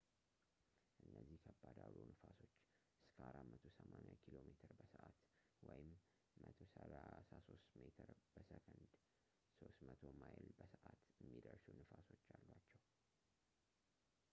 እነዚህ ከባድ አውሎ ነፋሶች እስከ 480 ኪ.ሜ/በሰዓት 133 ሜ/በሰከንድ ፤ 300 ማ/በሰዓት የሚደርሱ ነፋሶች አሏቸው